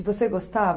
E você gostava?